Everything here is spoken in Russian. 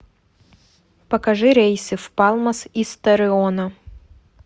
покажи рейсы в палмас из торреона